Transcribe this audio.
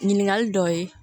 Ɲininkali dɔw ye